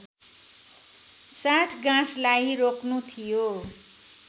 साँठगाँठलाई रोक्नु थियो